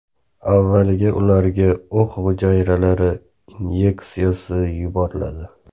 Avvaliga ularga o‘q hujayralari inyeksiyasi yuboriladi.